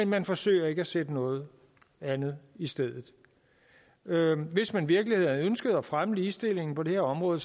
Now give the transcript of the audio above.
man forsøger ikke at sætte noget andet i stedet hvis man virkelig havde ønsket at fremme ligestillingen på det her område